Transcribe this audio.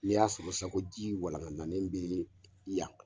N'i y'a sɔrɔ sa ko ji walankatalen bɛ yan